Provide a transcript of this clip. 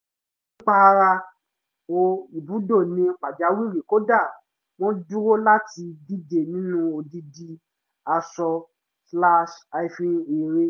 pípààrọ̀ ibùdó ní pàjáwìrì kò dá wọn dúró láti díje nínú odidi aṣọ-eré